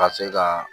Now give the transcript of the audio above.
Ka se ka